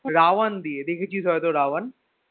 রা one দিয়ে দেখেছিস হয়ত রা one